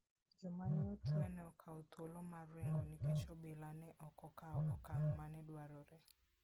Joma ne otwe ne okawo thuolo mar ringo nikech obila ne ok okawo okang' ma ne dwarore.